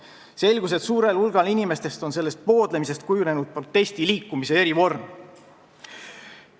Peale selle selgus, et suure hulga inimeste seas on sellest poodlemisest kujunenud protestiliikumise erivorm.